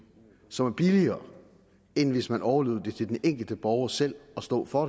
som er billigere end hvis man overlod det til den enkelte borger selv at stå for